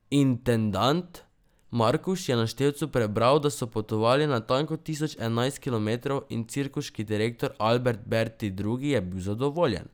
Intendant Markuš je na števcu prebral, da so potovali natanko tisoč enajst kilometrov, in cirkuški direktor Albert Berti Drugi je bil zadovoljen.